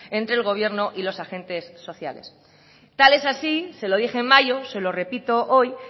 entre el gobierno y los agentes sociales tal es así se lo dije en mayo se lo repito hoy